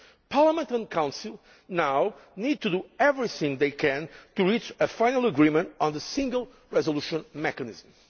Parliament and the Council now need to do everything they can to reach a final agreement on the Single Resolution Mechanism.